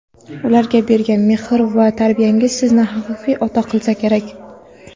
ularga bergan mehr va tarbiyangiz sizni haqiqiy ota qilsa kerak.